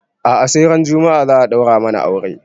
A'a sai ran juma'a za a ɗaura mana aure